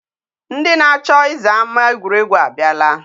Ndị na-acho iza ama egwuregwu abiala.